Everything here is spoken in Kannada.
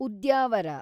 ಉದ್ಯಾವರ